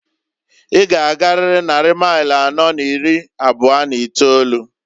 I g'agarịrị nnari mail anọọ n'iri abụọ n'itolu.